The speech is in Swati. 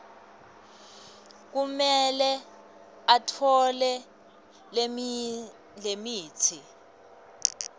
kumele atfole lemitsi